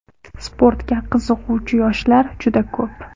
Sportga qiziquvchi yoshlar juda ko‘p.